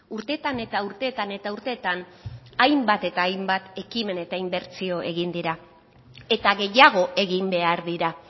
urteetan eta urteetan eta urteetan hainbat eta hainbat ekimen eta inbertsio egin dira eta gehiago egin behar dira